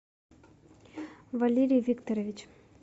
валерий викторович